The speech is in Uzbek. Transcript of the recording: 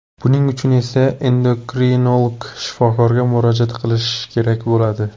Buning uchun esa endokrinolog shifokorga murojaat qilish kerak bo‘ladi.